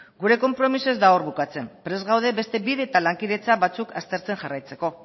gure konpromisoa ez da hor bukatzen prest gaude beste bide eta lankidetza batzuk aztertzen jarraitzeko